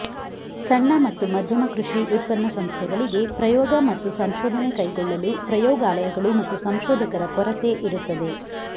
ಸಣ್ಣ ಮತ್ತು ಮಧ್ಯಮ ಕೃಷಿ ಉತ್ಪನ್ನ ಸಂಸ್ಥೆಗಳಿಗೆ ಪ್ರಯೋಗ ಮತ್ತು ಸಂಶೋಧನೆ ಕೈಗೊಳ್ಳಲು ಪ್ರಯೋಗಾಲಯಗಳು ಮತ್ತು ಸಂಶೋಧಕರ ಕೊರತೆ ಇರುತ್ತದೆ